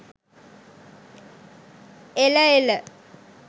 එල එල.